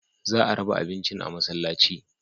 Za a raba abincin a masallaci.